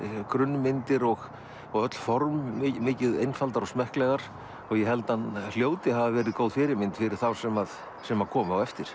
grunnmyndir og og öll form mikið einfaldar og smekklegar ég held hann hljóti að hafa verið góð fyrirmynd fyrir þá sem sem komu á eftir